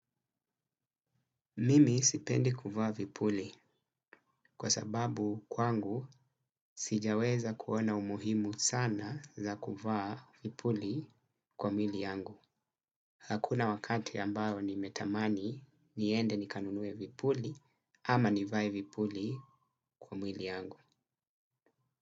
Mimi sipendi kuvaa vipuli kwa sababu kwangu sijaweza kuona umuhimu sana za kuvaa vipuli kwa mili yangu. Hakuna wakati ambayo nimetamani niende nikanunue vipuli ama nivae vipuli kwa mwili yangu.